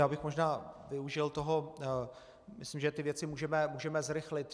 Já bych možná využil toho, myslím, že ty věci můžeme zrychlit.